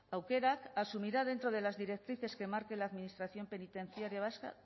aukerak asumirá dentro de las directrices que marque la administración penitenciaria vasca